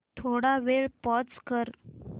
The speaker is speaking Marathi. थोडा वेळ पॉझ कर